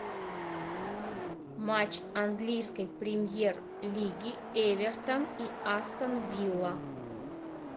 матч английской премьер лиги эвертон и астон вилла